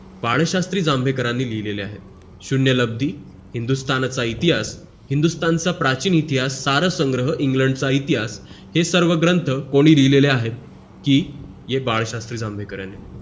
बाळशास्त्री जांभेकरांनी लिहिलेले आहेत शून्यलाभी हिंदुस्तानच इतिहास हिंदुस्तानच प्राचीन इतिहास सारे संग्रह इंग्लंडचा इतिहास हे सगळे ग्रंथ कोणी लिहिलेले आहेत कि बाळशास्त्री जांभेकरांनी लिहिलेले आहेत